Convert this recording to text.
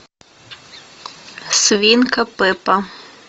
свинка пеппа